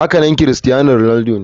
Hakanan crustiano ronaldo ne.